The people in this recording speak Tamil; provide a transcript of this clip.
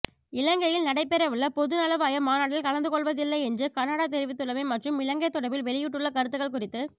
இலங்கையில் நடைபெறவுள்ள பொதுநலவாய மாநாட்டில் கலந்துகொள்வதில்லை என்று கனடா தெரிவித்துள்ளமை மற்றும் இலங்கை தொடர்பில் வெளியிட்டுள்ள கருத்துக்கள் குறித்து